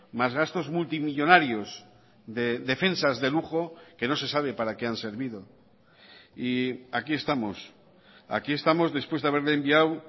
más gastos multimillónarios de defensas de lujo que no se sabe para qué han servido y aquí estamos aquí estamos después de haberle enviado